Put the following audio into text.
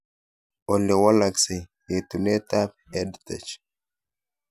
Ole walaksei etunatet ab EdTech